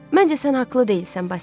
Məncə sən haqlı deyilsən, Basil.